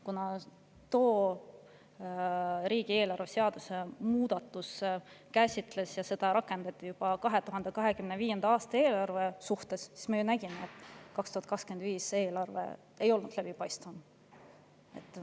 Kuna see riigieelarve seaduse muudatus rakendus juba 2025. aasta eelarve suhtes, siis me ju nägime, et 2025. aasta eelarve ei olnud läbipaistvam.